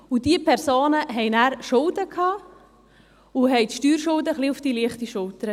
Daraufhin hatten sie Schulden, doch sie nahmen die Steuerschulden auf die leichte Schulter.